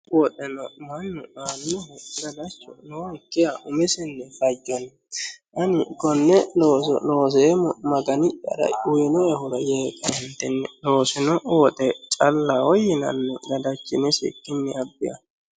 woxeno mannu aannohu gadacho nookkiha umisinni fajjanni ani konne looso looseemo magani'yara uyino"ehura yee ka"eentinni loosino woxe callaho yinanni gadachinisikkinni abbe aano